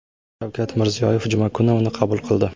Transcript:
Shavkat Mirziyoyev juma kuni uni qabul qildi .